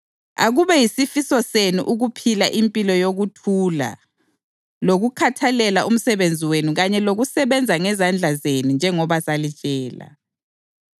Akube yisifiso senu ukuphila impilo yokuthula lokukhathalela umsebenzi wenu kanye lokusebenza ngezandla zenu njengoba salitshela